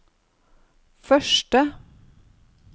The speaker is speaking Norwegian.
første